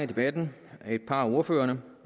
debatten af et par af ordførerne